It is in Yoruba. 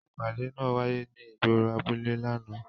Ipade naa waye ni igboro abule làná.